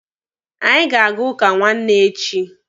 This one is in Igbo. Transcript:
Anyị ga-aga ụka nwanne echi.